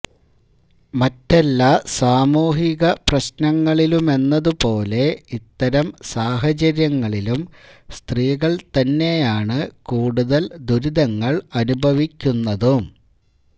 മറ്റെല്ലാ സാമൂഹിക പ്രശ്നങ്ങളിലുമെന്നതുപോലെ ഇത്തരം സാഹചര്യങ്ങളിലും സ്ത്രീകൾ തന്നെയാണ് കൂടുതൽ ദുരിതങ്ങൾ അനുഭവിക്കുന്നതും